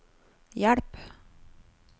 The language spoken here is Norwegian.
hjelp